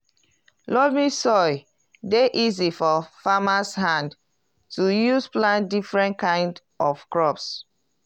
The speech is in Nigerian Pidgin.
loamy soil dey easy for farmers hand to use plant different kind of crops.